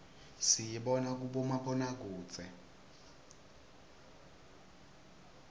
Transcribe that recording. siyibona kubomabonakudze